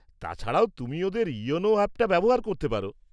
তাছাড়াও, তুমি ওদের ইয়োনো অ্যাপটা ব্যবহার করতে পার।